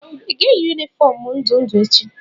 ị ga-eyi yunifọọm ndụ ndụ echi?